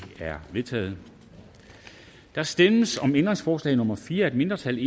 er vedtaget der stemmes om ændringsforslag nummer fire af et mindretal